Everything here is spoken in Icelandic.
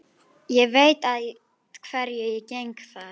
Ég veit að hverju ég geng þar.